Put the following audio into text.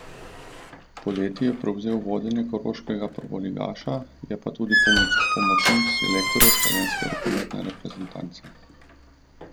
Poleti je prevzel vodenje koroškega prvoligaša, je pa tudi pomočnik selektorja slovenske rokometne reprezentance.